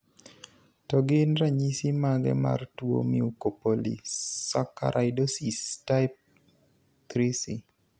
To gin ranyisis mage mar tuo Mucopolysaccharidosis type IIIC?